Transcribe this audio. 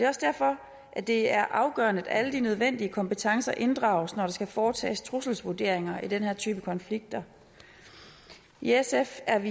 også derfor det er afgørende at alle de nødvendige kompetencer inddrages når der skal foretages trusselsvurderinger i den her type konflikter i sf er